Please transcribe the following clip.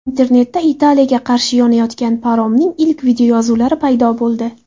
Internetda Italiyaga qarashli yonayotgan paromning ilk videoyozuvlari paydo bo‘ldi.